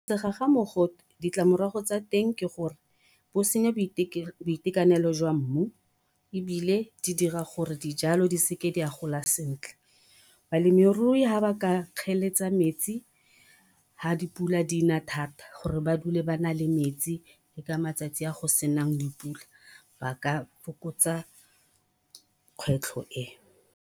Segwagwa mogote, ditlamorago tsa teng ke gore bo senya boitekanelo jwa mmu, ebile di dira gore dijalo di seke dia gola sentle. Balemirui ha ba ka kgeletsa metsi, ha dipula di na thata, gore ba dule ba na le metsi, le ka matsatsi a go senang dipula, ba ka fokotsa kgwetlho e.